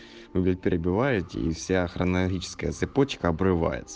вы перебиваете и вся хронологическая цепочка обрывается